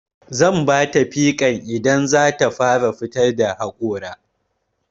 Zan bata pikan idan zata fara fitar da haƙora.